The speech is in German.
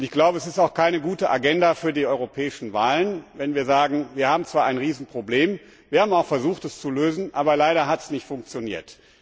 Ich glaube, es ist auch keine gute Agenda für die europäischen Wahlen, wenn wir sagen, wir haben zwar ein Riesenproblem, wir haben auch versucht, es zu lösen, aber leider hat es nicht funktioniert.